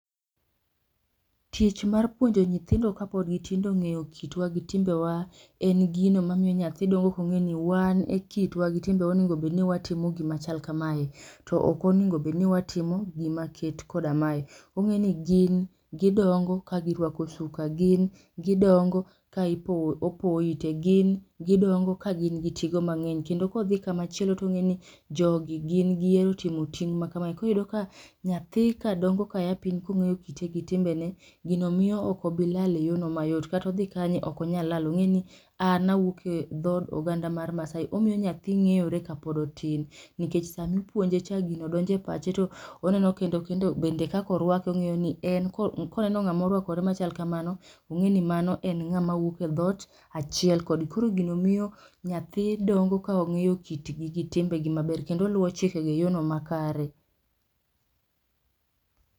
Tich mar puonjo nyithindo kapod gitindo ng'eyo kitwa gi timbewa, en gino mamiyo nyathi dongo kong'eni wan e kitwa gi timbewa oningo bedni watimo gimachal kamae to ok oningo bedni watimo gima ket koda mae. Ong'eni gin gidongo ka girwako suka, gin gidongo kaipowo opowo ite, gin gidongo ka gin gi tigo mang'eny, kendo kodhi kamachielo tong'eni jogi gin gihero timo ting' ma kamae koro iyudo ka nyathi kadongo kaya piny kong'eyo kite gi timbene, gino miyo ok obi lal e yono mayot kata odhi kanye ok onyalal, ong'eni an awuok e dhod oganda mar Maasai, omiyo nyathi ng'eyore kapod otin nikech sami ipuonje cha to gino donjo e pache to oneno kendo kendo bende kakorwake ong'eyo ni en ko koneno ng'ama orwakore machal kamano, ong'eni mano ng'ama wuok e dhot achiel kode. Koro gino miyo nyathi dongo ka ong'eyo kitgi gi timbegi maber kendo oluwo chikego e yono makare